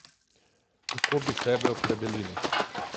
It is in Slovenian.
Kako bi sebe opredelili?